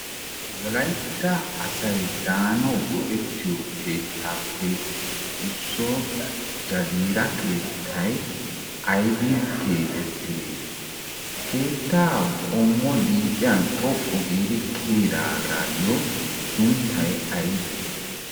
wolaytta asay daanawu go7ettiyo keettaappe issuwa jagiira keettay aaybbin keexettidee? keettaa qommo liiphiyan xoqqu giiri kiiyidaayyo sunttay aybbe?